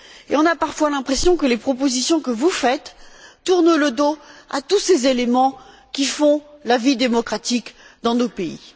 Et on a parfois l'impression que les propositions que vous faites tournent le dos à tous ces éléments qui font la vie démocratique dans nos pays.